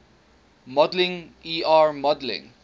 modeling er modeling